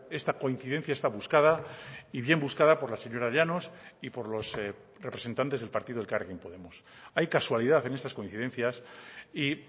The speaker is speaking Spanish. esta coincidencia esta buscada y bien buscada por la señora llanos y por los representantes del partido elkarrekin podemos hay casualidad en estas coincidencias y